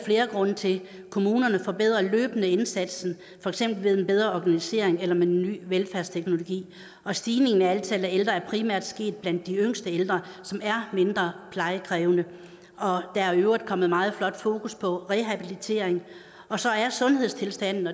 flere grunde til kommunerne forbedrer løbende indsatsen for eksempel ved en bedre organisering eller med ny velfærdsteknologi stigningen i antallet af ældre er primært sket blandt de yngste ældre som er mindre plejekrævende og der er i øvrigt kommet meget flot fokus på rehabilitering og så er sundhedstilstanden